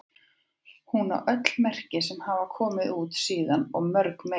Hún á öll merki sem hafa komið út síðan og mörg fleiri.